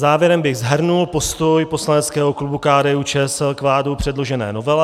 Závěrem bych shrnul postoj poslaneckého klubu KDU-ČSL k vládou předložené novele.